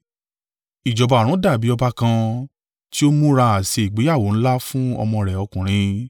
“Ìjọba ọ̀run dàbí ọba kan ti ó múra àsè ìgbéyàwó ńlá fún ọmọ rẹ̀ ọkùnrin.